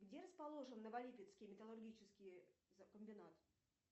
где расположен новолипецкий металлургический комбинат